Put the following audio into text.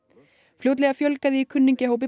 fjótlega fjölgaði í kunningjahópi